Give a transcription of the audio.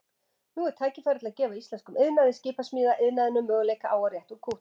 Nú er tækifæri til að gefa íslenskum iðnaði, skipasmíðaiðnaðinum, möguleika á að rétta úr kútnum.